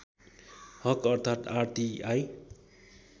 हक अर्थात् आरटीआई